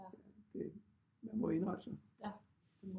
Det man må indrette sig